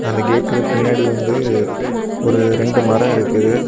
அந்த கேட்டுக்கு பின்னாடி வந்து ஒரு ரெண்டு மரம் இருக்குது.